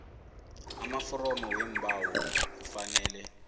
amaforomo weembawo kufanele